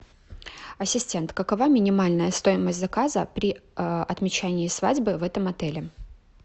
ассистент какова минимальная стоимость заказа при отмечании свадьбы в этом отеле